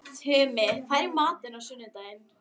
Tumi, hvað er í matinn á sunnudaginn?